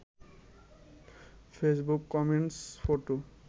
Facebook comment photo